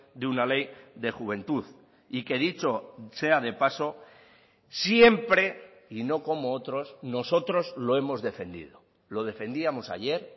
de una ley de juventud y que dicho sea de paso siempre y no como otros nosotros lo hemos defendido lo defendíamos ayer